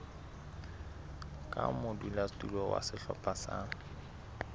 ka modulasetulo wa sehlopha sa